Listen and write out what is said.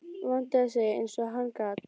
Vandaði sig eins og hann gat.